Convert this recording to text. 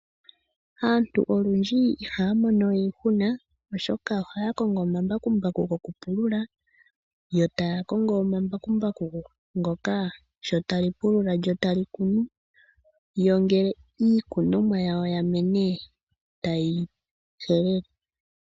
Aantu olundji ihaya mono we iihuna oshoka ohaya kongo omambakumbaku gokupulula, yo taya kongo omambakumbaku ngoka sho tali pulula lyo otali kunu. Yo ngele iikunomwa yawo yamene taye yi helele.